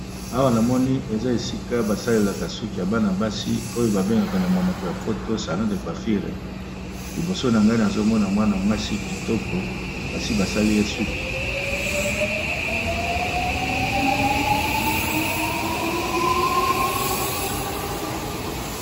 Awa na moni, eza esika basalelaka suki ya bana-basi oyo babengaka na monoko ya lopoto salon de quafire. Liboso na ngai, na zomona mwana mwasi kitoko, basi basali ye suki.